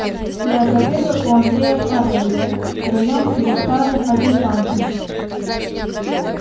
я отобедал у андрея карловича втроём с его старым адъютантом